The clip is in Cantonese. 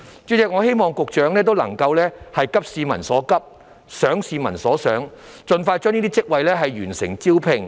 主席，我希望勞工及福利局局長能夠急市民所急、想市民所想，盡快完成這些職位的招聘。